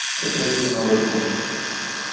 качай кино развод